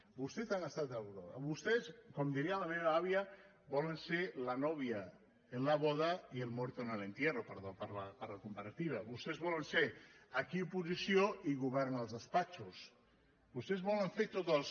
vostès com diria la meva àvia volen ser la novia en la boda y el muerto en el entierro perdó per la comparativa vostès volen ser aquí oposició i govern als despatxos vostès ho volen fer tots els